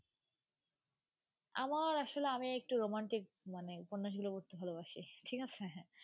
আমার আসলে আমি একটু romantic মানে উপন্যাসগুলো পড়তে ভালোবাসি, ঠিক আছে.